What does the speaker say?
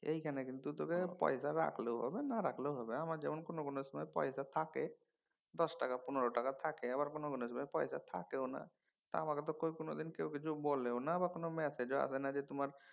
এইখানে কিন্তু তোকে পয়সা রাখলেও হবে না রাখলেও হবে। আমার যেমন কোনও কোনও সময় পয়সা থাকে দশ টাকা পনের টাকা থাকে আবার কোনও কোনও সময় পয়সা থাকেও না। আমাকে তো কই কোনোদিন কেউ কিছু বলেও না আবার কোনও ম্যাসেজও আসেনা যে তোমার